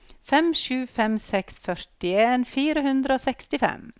fem sju fem seks førtien fire hundre og sekstifem